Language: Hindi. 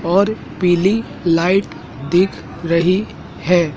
और पीली लाइट दिख रही है।